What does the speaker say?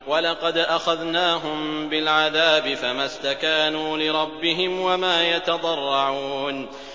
وَلَقَدْ أَخَذْنَاهُم بِالْعَذَابِ فَمَا اسْتَكَانُوا لِرَبِّهِمْ وَمَا يَتَضَرَّعُونَ